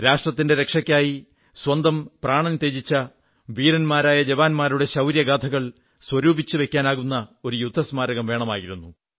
രാഷ്ട്രത്തിന്റെ രക്ഷയ്ക്കായി സ്വന്തം പ്രാണൻ ത്യജിച്ച വീരന്മാരായ ജവാന്മാരുടെ ശൌര്യഗാഥകൾ സ്വരൂപിച്ചുവയ്ക്കാനാകുന്ന ഒരു യുദ്ധസ്മാരകം വേണമായിരുന്നു